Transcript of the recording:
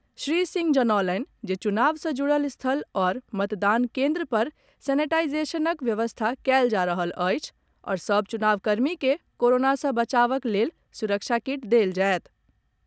श्री सिंह जनौलनि जे चुनाव सँ जुड़ल स्थल आओर मतदान केन्द्रपर सेनेटाईजेशनक व्यवस्था कयल जा रहल अछि आओर सभ चुनाव कर्मी के कोरोना सँ बचावक लेल सुरक्षा किट देल जायत।